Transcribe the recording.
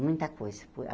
Muita coisa.